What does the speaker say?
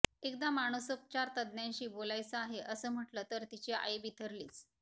एकदा मानसोपचारतज्ज्ञाशी बोलायचं आहे असं म्हटलं तर तिची आई बिथरलीच